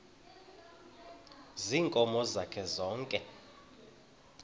ziinkomo zakhe zonke